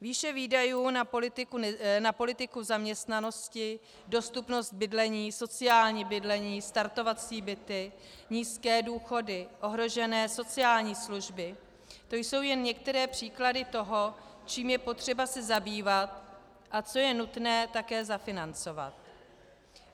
Výše výdajů na politiku zaměstnanosti, dostupnost bydlení, sociální bydlení, startovací byty, nízké důchody, ohrožené sociální služby, to jsou jen některé příklady toho, čím je potřeba se zabývat a co je nutné také zafinancovat.